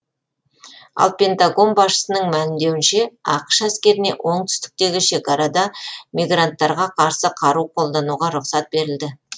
ал пентагон басшысының мәлімдеуінше ақш әскеріне оңтүстіктегі шекарада мигранттарға қарсы қару қолдануға рұқсат берілді